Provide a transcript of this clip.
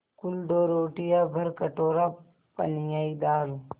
कुल दो रोटियाँ भरकटोरा पनियाई दाल